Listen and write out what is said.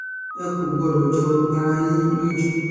ẹ kò gbọ́dọ̀ jọ ara yín lójú